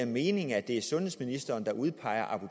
mening at det er sundhedsministeren der udpeger